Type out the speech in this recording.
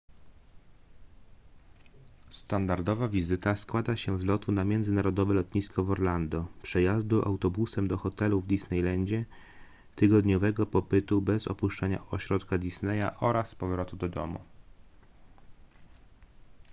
standardowa wizyta składa się z lotu na międzynarodowe lotnisko w orlando przejazdu autobusem do hotelu w disneylandzie tygodniowego pobytu bez opuszczania ośrodka disneya oraz powrotu do domu